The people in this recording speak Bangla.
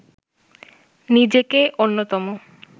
নিজেকে অন্যতম